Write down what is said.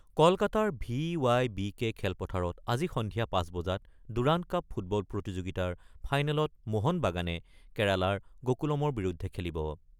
কলকাতাৰ V Y B K খেলপথাৰত আজি সন্ধিয়া ৫ বজাত দুৰান্দ কাপ ফুটবল প্ৰতিযোগিতাৰ ফাইনেলত মহান বাগানে কেৰালাৰ গকুলমৰ বিৰুদ্ধে খেলিব।